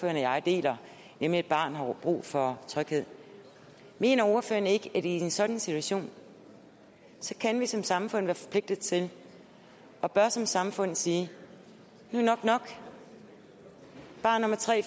jeg deler nemlig at et barn har brug for tryghed mener ordføreren så ikke at i en sådan situation kan vi som samfund være forpligtet til og bør som samfund sige nu er nok nok barn nummer tre